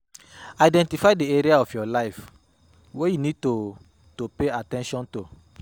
Identify di areas of your life wey you need to to pay at ten tion to